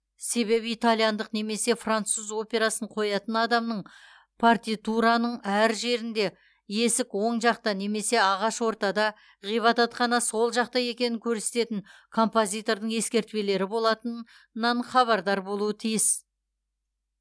себебі итальяндық немесе француз операсын қоятын адамның партитураның әр жерінде есік оң жақта немесе ағаш ортада ғибадатхана сол жақта екенін көрсететін композитордың ескертпелері болатынынан хабардар болуы тиіс